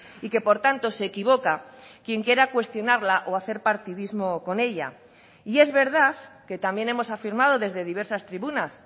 y que por tanto se equivoca quien quiera cuestionarla o hacer partidismo con ella y es verdad que también hemos afirmado desde diversas tribunas